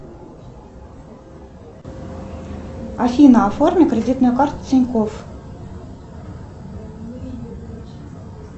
афина оформи кредитную карту тинькофф